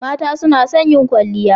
Mata suna son yin kwalliya.